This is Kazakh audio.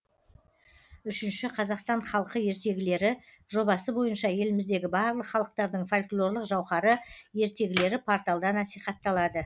үшінші қазақстан халқы ертегілері жобасы бойынша еліміздегі барлық халықтардың фольклорлық жауһары ертегілері порталда насихатталады